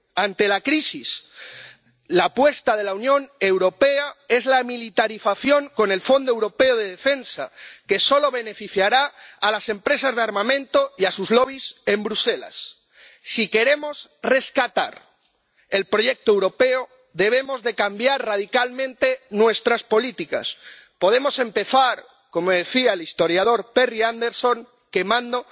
Ante la crisis, la apuesta de la Unión Europea es la militarización con el Fondo Europeo de Defensa, que solo beneficiará a las empresas de armamento y a sus lobbies en Bruselas. Si queremos rescatar el proyecto europeo, debemos cambiar radicalmente nuestras políticas. Podemos empezar, como decía el historiador Perry Anderson, quemando